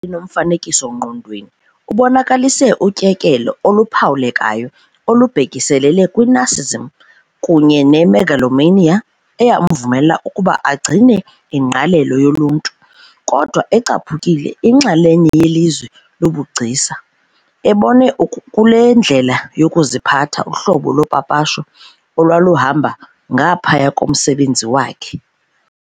nomfanekiso-ngqondweni, ubonakalise utyekelo oluphawulekayo olubhekiselele kwi-narcissism kunye ne-megalomania eyamvumela ukuba agcine ingqalelo yoluntu, kodwa ecaphukile inxalenye yelizwe lobugcisa, ebone kule ndlela yokuziphatha uhlobo lopapasho olwaluhamba ngaphaya komsebenzi wakhe.